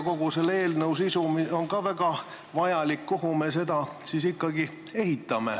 Kogu selle eelnõu sisu on väga vajalik.